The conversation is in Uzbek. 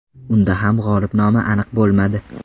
Unda ham g‘olib nomi aniq bo‘lmadi.